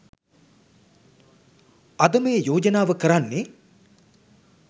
අද මේ යෝජනාව කරන්නේ